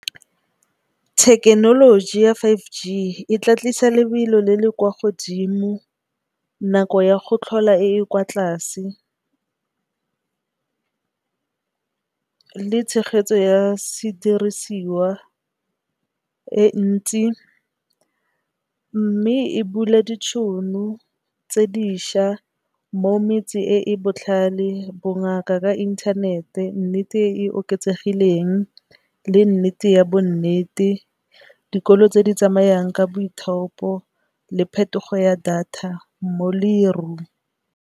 Thekenoloji ya five G e tla tlisa lebelo le le kwa godimo nako ya go tlhola e e kwa tlase le tshegetso ya sedirisiwa e ntsi. Mme, e bula ditšhono tse dišwa mo metsi e e botlhale bongaka ka inthanete, nnete e e oketsegileng le nnete ya bo nnete, dikolo tse di tsamayang ka boithaopo le phetogo ya data mo lerung.